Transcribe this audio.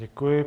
Děkuji.